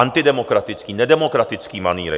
Antidemokratický, nedemokratický manýry.